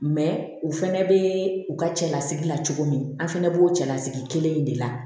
u fɛnɛ bɛ u ka cɛlasigi la cogo min an fana b'o cɛlasigi kelen in de la